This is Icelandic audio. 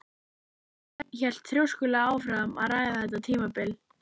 En Örn hélt þrjóskulega áfram að ræða þetta tímabil.